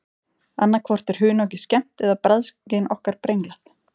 Annað hvort er hunangið skemmt eða bragðskyn okkar brenglað.